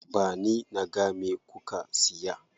Ba ni naga me kuka siya.